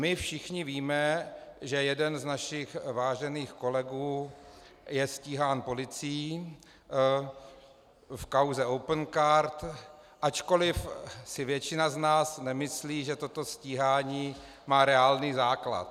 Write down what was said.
My všichni víme, že jeden z našich vážených kolegů je stíhán policií v kauze Opencard, ačkoliv si většina z nás nemyslí, že toto stíhání má reálný základ.